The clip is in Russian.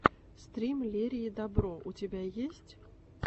стрим лерии добро у тебя есть